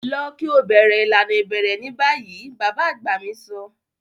Lọ ki o bẹrẹ ilana ibẹrẹ ni bayi! baba agba mi sọ.